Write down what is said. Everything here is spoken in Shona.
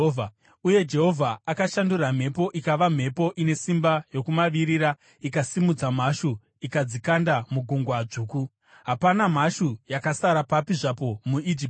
Uye Jehovha akashandura mhepo ikava mhepo ine simba yokumavirira ikasimudza mhashu ikadzikanda muGungwa Dzvuku. Hapana mhashu yakasara papi zvapo muIjipiti.